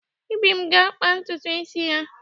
Ibim ga-akpa ntutu isi ya.